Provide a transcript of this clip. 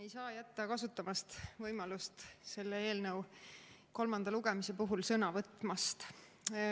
Ei saa jätta kasutamata võimalust selle eelnõu kolmanda lugemise puhul sõna võtta.